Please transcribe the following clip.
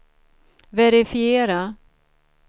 verifiera